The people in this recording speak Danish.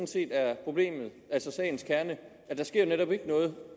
set er problemet altså sagens kerne der sker netop ikke noget